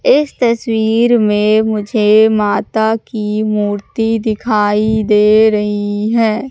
इस तस्वीर में मुझे माता की मूर्ति दिखाई दे रही है।